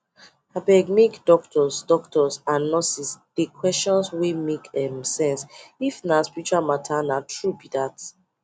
abegmake doctors doctors and nurses dey questions wey make um sense if na spirtual matter na true be that